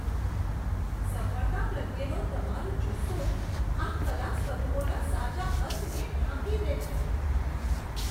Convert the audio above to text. સફળતા પ્રત્યેનો તમારો જુસ્સો આ કલા સ્વરૂપોના સાચા અર્કને ઢાંકી દે છે.